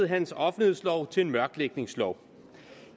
hans offentlighedslov til en mørklægningslov